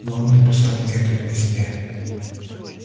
но он написал мне это в письме